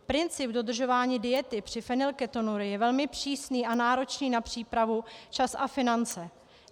Princip dodržování diety při fenylketonurii je velmi přísný a náročný na přípravu, čas a finance.